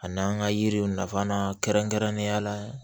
A n'an ka yiriw nafa kɛrɛnkɛrɛnnenya la